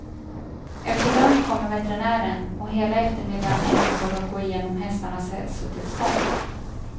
Efter lunch kommer veterinären, och hela eftermiddagen ägnas åt att gå igenom hästarnas hälsotillstånd.